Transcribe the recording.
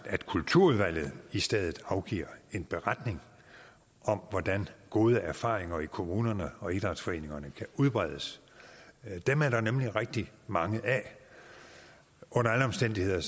at kulturudvalget i stedet afgiver en beretning om hvordan gode erfaringer i kommunerne og idrætsforeningerne kan udbredes dem er der nemlig rigtig mange af under alle omstændigheder